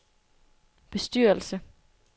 bestyrelse